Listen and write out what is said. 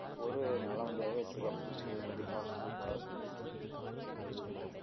பொறு நல்ல வண்டியாவே எடுத்துக்கலாம் புதுசு எதுக்கு அவசரப்பட்டு காசு செலவு பண்ணணும்னு சொல்லிட்டாங்க